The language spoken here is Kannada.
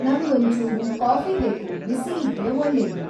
ನಂಗೊಂಚೂರು ಕಾಫಿ ಬೇಕು ಬಿಸಿ ಇದ್ರೆ ಒಳ್ಳೇದು